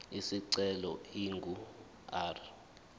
isicelo ingu r